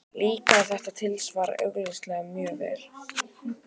Líkaði þetta tilsvar augsýnilega mjög vel.